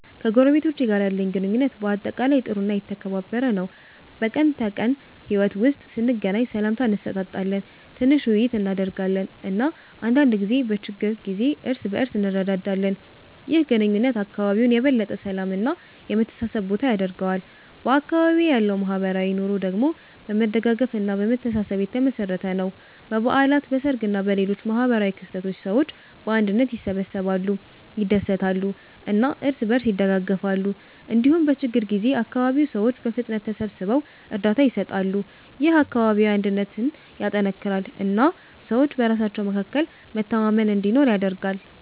ከጎረቤቶቼ ጋር ያለኝ ግንኙነት በአጠቃላይ ጥሩ እና የተከባበረ ነው። በቀን ተቀን ሕይወት ውስጥ ስንገናኝ ሰላምታ እንሰጣጣለን፣ ትንሽ ውይይት እናደርጋለን እና አንዳንድ ጊዜ በችግር ጊዜ እርስ በእርስ እንረዳዳለን። ይህ ግንኙነት አካባቢውን የበለጠ የሰላም እና የመተሳሰብ ቦታ ያደርገዋል። በአካባቢዬ ያለው ማህበራዊ ኑሮ ደግሞ በመደጋገፍ እና በመተሳሰብ የተመሠረተ ነው። በበዓላት፣ በሰርግ እና በሌሎች ማህበራዊ ክስተቶች ሰዎች በአንድነት ይሰበሰባሉ፣ ይደሰታሉ እና እርስ በእርስ ይደጋገፋሉ። እንዲሁም በችግኝ ጊዜ አካባቢው ሰዎች በፍጥነት ተሰብስበው እርዳታ ይሰጣሉ። ይህ አካባቢያዊ አንድነትን ያጠናክራል እና ሰዎች በራሳቸው መካከል መተማመን እንዲኖር ያደርጋል።